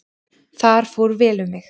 Þar fór vel um mig.